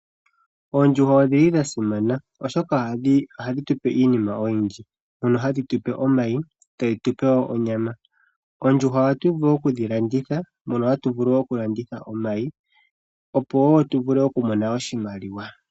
Oondjuhwa odhasimana oshoka ohadhi zi iinima oyindji. Ohadhi gandja omayi nonyama kaantu. Oondjuhwa ohadhi vulu okulandithwa nomayi woo ohaga vulu okulandithwa opo aantu ya vule okumona oshimaliwa.